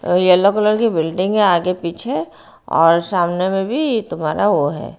अ yellow colour की building है आगे पीछे और सामने में भी ये तुम्हारा वो है।